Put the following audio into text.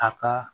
A ka